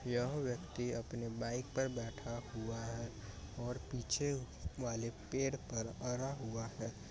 यह व्यक्ति अपने बाइक पर बेठा हुवा हे और पीछे वाले पेड़ पर अरा हुवा हैं ।